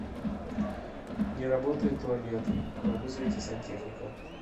не работает туалет вызовите сантехника